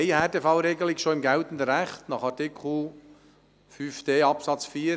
Wir haben bereits im geltenden Recht eine Härtefallregelung: Artikel 5d Absatz 4.